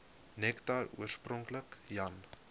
nektar oorspronklik jan